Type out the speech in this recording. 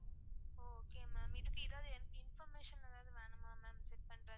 ஒ okay ma'am. இதுக்கு எதாவது information எதாவது வேணுமா ma'am set பண்ற?